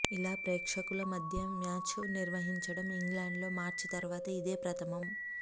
ఇలా ప్రేక్షకుల మధ్య మ్యాచ్ను నిర్వహించడం ఇంగ్లండ్లో మార్చి తర్వాత ఇదే ప్రథమం